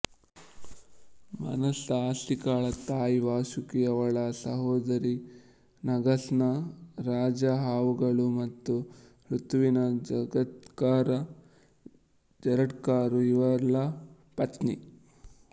ಮನಸಾ ಅಸ್ಟಿಕಾಳ ತಾಯಿ ವಾಸುಕಿ ಅವಳ ಸಹೋದರಿ ನಾಗಾಸ್ನ ರಾಜ ಹಾವುಗಳು ಮತ್ತು ಋತುವಿನ ಜಗತ್ಕರ ಜರಟ್ಕರು ಇವಳ ಪತ್ನಿ